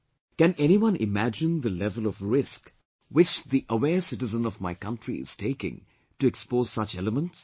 Can anyone imagine the level of risk, which the aware citizen of my country is taking to expose such elements